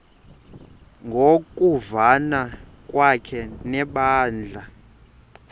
ngokuvana kwakhe nebandla